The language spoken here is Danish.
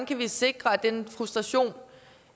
kan sikre at den frustration